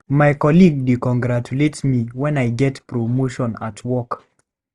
My colleague dey congratulate me when I get promotion at work.